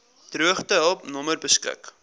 droogtehulp nommer beskik